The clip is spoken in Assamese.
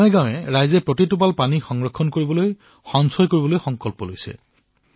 গাঁৱে গাঁৱে জনতাই পানীৰ একো একোটা টোপাল সঞ্চয় কৰাৰ বাবে সংকল্প গ্ৰহণ কৰিছে